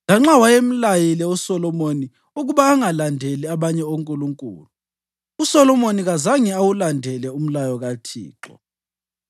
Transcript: Lanxa wayemlayile uSolomoni ukuba angalandeli abanye onkulunkulu, uSolomoni kazange awulandele umlayo kaThixo.